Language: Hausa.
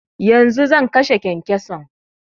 Yanzu zan kashe kyankyason